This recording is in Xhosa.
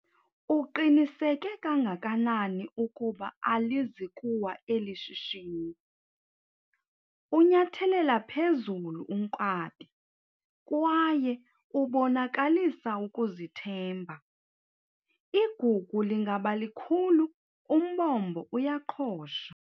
Uqiniseke kangakanani ukuba alizi kuwa eli shishini? unyathelela phezulu unkabi kwaye ubonakalisa ukuzithemba, igugu lingaba likhulu umbombo uyaqhosha